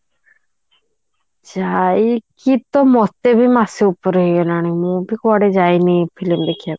ଯାଇକି ତ ମତେ ବି ମାସେ ଉପରେ ହେଇ ଗଲାଣି ମୁଁ ବି କୁଆଡେ ଯାଇନି film ଦେଖିବା କୁ